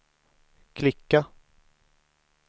klicka